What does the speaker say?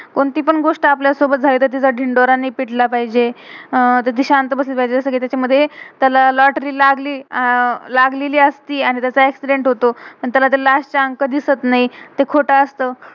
कोणती पण गोष्ट आपल्या सोबत झाली कि, त्याचा धिन्डोरा नाही पिथला पाहिजे. अह शांत बसलं पाहिजे. तर लोटरी lotory, लागली अह लागलेली असती. आणि त्याचा एक्सीडेंट accident होतो. पण तेला ते लास्ट last चे अंक दिसत नाई.